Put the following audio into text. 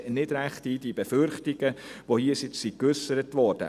Ich sehe die Befürchtungen nicht ganz ein, die hier geäussert wurden.